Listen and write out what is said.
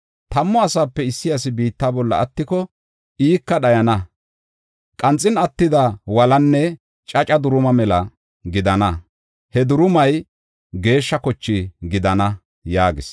Tammu asaape issi asi biitta bolla attiko, ika dhayana. Qanxin attida wolanne caca duruma mela gidana; he durumay geeshsha koche gidana” yaagis.